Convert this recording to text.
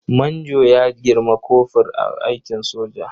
Manjo ya girmi kofur a aikin soja.